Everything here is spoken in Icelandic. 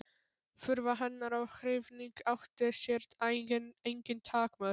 Furða hennar og hrifning átti sér engin takmörk.